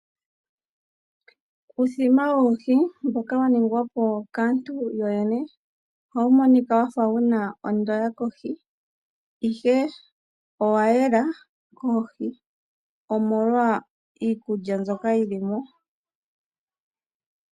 Uuthima woohi mboka wa ningwa po kaantu yoyene ohawu monika wa fa wu na ondoya kohi, ihe owa yela koohi omolwa iikulya mbyoka yi li mo.